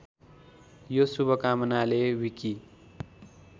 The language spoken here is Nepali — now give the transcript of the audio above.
यो शुभकामनाले विकि